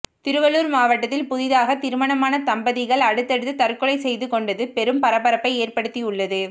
திருவள்ளூர் மாவட்டத்தில் புதிதாக திருமணமான தம்பதிகள் அடுத்தடுத்து தற்கொலை செய்து கொண்டது பெரும் பரபரப்பை ஏற்படுத்தி உள்ளது